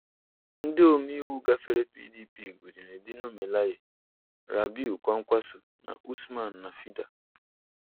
Ndị omeiwu gafere PDP gụnyere Dino Melaye, Rabiu Kwankwaso na Usman Nafịda.